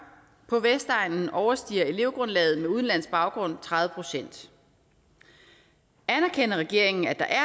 på vestegnen overstiger elevgrundlaget med udenlandsk baggrund tredive procent anerkender regeringen at der er